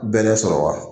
Bɛnɛ sɔrɔ wa